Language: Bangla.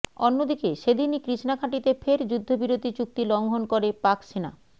অন্যদিকে সেদিনই কৃষ্ণাঘাঁটিতে ফের যুদ্ধবিরতি চুক্তি লঙ্ঘন করে পাক সেনা